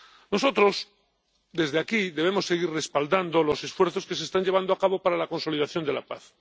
Nosotros, desde aquí, debemos seguir respaldando los esfuerzos que se están llevando a cabo para la consolidación de la paz.